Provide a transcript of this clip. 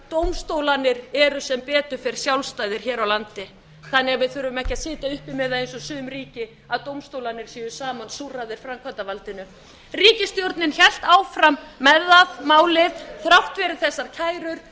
dómstólarnir eru sem betur fer sjálfstæðir hér á landi þann að við þurfum ekki að sitja uppi með það eins og sum ríki að dómstólarnir séu samansúrraðir framkvæmdarvaldinu ríkisstjórnin hélt áfram með það málið þrátt fyrir þessar kærur